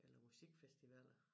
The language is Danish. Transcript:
Eller musikfestivaler